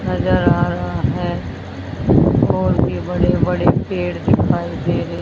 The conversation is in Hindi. नजर आ रहा है और भी बड़े बड़े पेड़ दिखाई दे रहे--